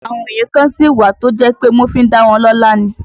Àwọn òye kan sí wà tí ó jẹ́ pé wọ́n fi dá wọn lọ́la ni